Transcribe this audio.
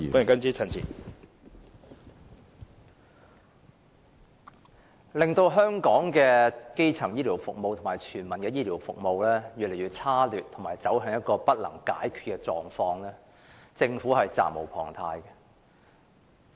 導致香港的基層醫療服務及全民醫療服務越見差劣，以及走向一個不能解決的狀況，政府實在責無旁貸。